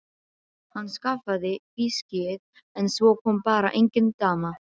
Hann skaffaði viskíið en svo kom bara engin dama.